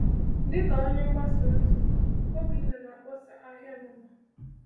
Dịka onye mgbasa ozi, Obinna na-akpọsa ahịa n’ụwa.